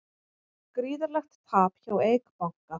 Gríðarlegt tap hjá Eik banka